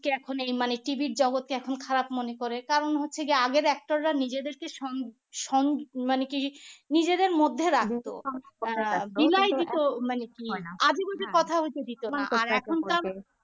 এখন এই মানে TV এর এখন জগতকে খারাপ মনে করে কারণ হচ্ছে গিয়ে আগের actor রা নিজেদেরকে সং সং মানে কি নিজেদের মধ্যে রাখত আহ